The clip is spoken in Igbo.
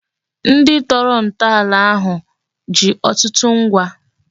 Ndị tọrọ ntọala ahụ ji ọtụtụ ngwa